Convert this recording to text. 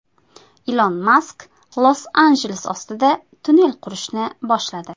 Ilon Mask Los-Anjeles ostida tunnel qurishni boshladi.